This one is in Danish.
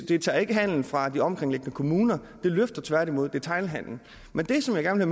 det tager ikke handelen fra de omkringliggende kommuner det løfter tværtimod detailhandelen men det som jeg gerne